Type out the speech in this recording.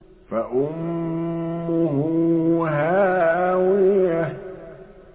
فَأُمُّهُ هَاوِيَةٌ